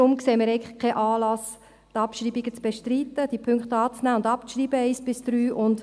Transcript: Darum sehen wir keinen Anlass, die Abschreibungen zu bestreiten, also die Punkte 1 bis 3 anzunehmen und abzuschreiben.